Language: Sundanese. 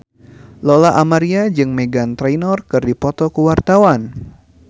Lola Amaria jeung Meghan Trainor keur dipoto ku wartawan